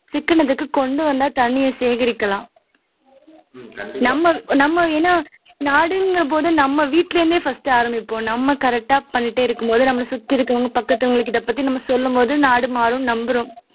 சிக்கனத்துக்கு கொண்டு வந்தா தண்ணியை சேகரிக்கலாம் நம்ம நம்ம நாடுங்கிறபோது நாம் வீட்ல இருந்தே ஆரம்பிப்போம் நம்ம correct ஆ பண்ணிட்டே இருக்கும்போது நம்மை சுத்தி இருக்கிறவங்க பக்கத்துவங்ககிட்ட சொல்லும்போது நாடு மாறும்னு நம்புறோம்